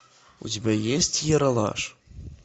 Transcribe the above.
у тебя есть ералаш